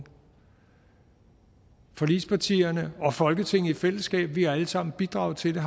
forligspartierne og folketinget i fællesskab har alle sammen bidraget til den